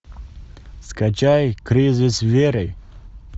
скачай кризис веры